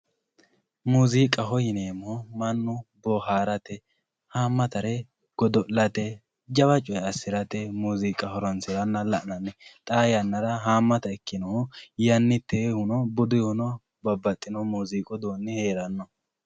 muziiqaho yineemo mannu bohaarate haamatare godo'late jawa coyi assirate muziiqa horonsiranna la'nanni xaa yannara haamata ikkinnohu yonnitehuno buduyihuno babbaxino muziiqu uduuni heeranno.